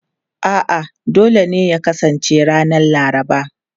A'a, dole ne ya kasance ranar Laraba.